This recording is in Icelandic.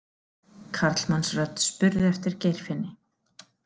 Karlmannsrödd spurði eftir Geirfinni.